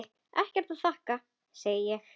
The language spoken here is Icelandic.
Ekkert að þakka, segi ég.